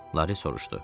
Lari soruşdu.